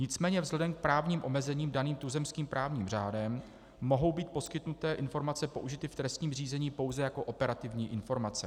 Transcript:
Nicméně vzhledem k právním omezením daným tuzemským právním řádem mohou být poskytnuté informace použity v trestním řízení pouze jako operativní informace.